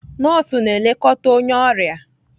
Nọọsụ na-elekọta onye ọrịa